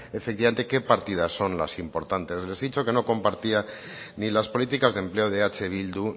efectivamente qué partidas son las importantes les he dicho que no compartía ni las políticas de empleo de eh bildu